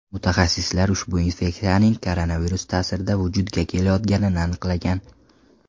Mutaxassislar ushbu infeksiyaning koronavirus ta’sirida vujudga kelayotganini aniqlagan.